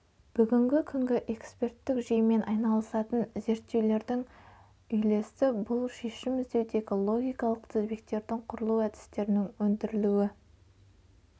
бүгінгі күнгі эксперттік жүйемен айналысатын зерттеулердің үйлесі бұл шешім іздеудегі логикалық тізбектердің құрылу әдістерінің өндірілуі